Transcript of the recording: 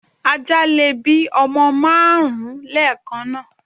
Ajá lè bí ọmọ márùn ún lẹ́kànáà